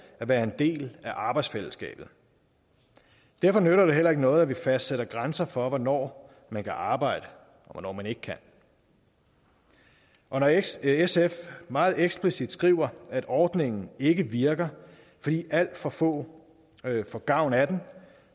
at være en del af arbejdsfællesskabet derfor nytter det heller ikke noget at vi fastsætter grænser for hvornår man kan arbejde og hvornår man ikke kan og når sf sf meget eksplicit skriver at ordningen ikke virker fordi alt for få får gavn af den